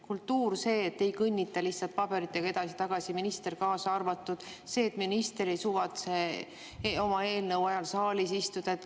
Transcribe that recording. Kultuur, see, et ei kõnnita lihtsalt paberitega edasi-tagasi, minister kaasaarvatud, see, et minister ei suvatse oma eelnõu ajal saalis istuda.